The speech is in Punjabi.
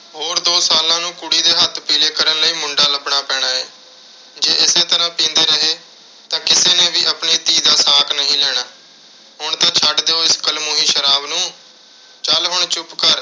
ਹੋਰ ਦੋ ਸਾਲਾਂ ਨੂੰ ਕੁੜੀ ਦੇ ਹੱਥ ਪੀਲੇ ਕਰਨ ਲਈ ਮੁੰਡ਼ਾ ਲੱਭਣਾ ਪੈਣਾ ਏ। ਜੇ ਇਸੇ ਤਰ੍ਹਾਂ ਪੀਂਦੇ ਰਹੇ ਤਾਂ ਕਿਸੇ ਨੇ ਵੀ ਆਪਣੀ ਧੀ ਦਾ ਸਾਕ ਨਹੀਂ ਲੈਣਾ। ਹੁਣ ਤਾਂ ਛੱਡ ਦਿਓ, ਇਸ ਕਲਮੂਹੀ ਸ਼ਰਾਬ ਨੂੰ। ਚੱਲ ਹੁਣ ਚੁੱਪ ਕਰ।